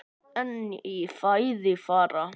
En í fæði fara